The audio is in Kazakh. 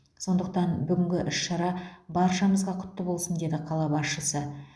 сондықтан бүгінгі іс шара баршамызға құтты болсын деді қала басшысы